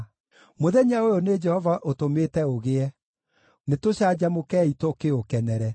Mũthenya ũyũ nĩ Jehova ũtũmĩte ũgĩe; nĩtũcanjamũkei, tũkĩũkenere.